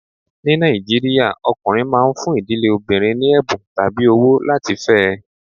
Ní Nàìjíríà, ọkùnrin máa ń fún ìdílé obìnrin ní ẹ̀bùn tàbí owó láti fẹ́ ẹ.